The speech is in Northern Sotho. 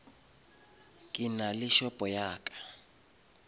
ke nale shopo ya ka